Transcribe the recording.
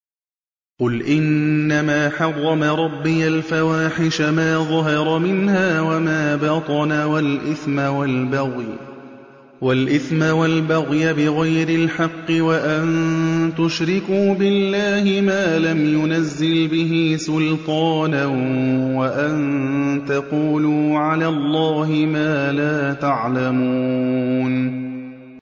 قُلْ إِنَّمَا حَرَّمَ رَبِّيَ الْفَوَاحِشَ مَا ظَهَرَ مِنْهَا وَمَا بَطَنَ وَالْإِثْمَ وَالْبَغْيَ بِغَيْرِ الْحَقِّ وَأَن تُشْرِكُوا بِاللَّهِ مَا لَمْ يُنَزِّلْ بِهِ سُلْطَانًا وَأَن تَقُولُوا عَلَى اللَّهِ مَا لَا تَعْلَمُونَ